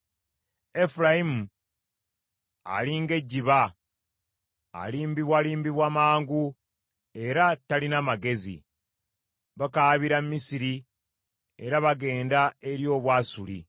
“Efulayimu ali ng’ejjiba, alimbibwalimbibwa mangu era talina magezi; bakaabira Misiri, era bagenda eri Obwasuli.